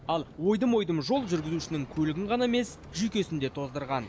ал ойдым ойдым жол жүргізушінің көлігін ғана емес жүйкесін де тоздырған